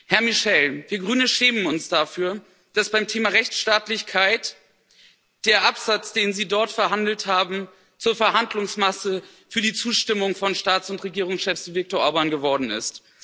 Herr Michel, wir Grüne schämen uns dafür, dass beim Thema Rechtsstaatlichkeit der Absatz, den Sie dort verhandelt haben, zur Verhandlungsmasse für die Zustimmung von Staats und Regierungschefs wie Viktor Orbán geworden ist.